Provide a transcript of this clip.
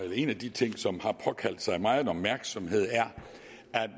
en af de ting som har påkaldt sig megen opmærksomhed er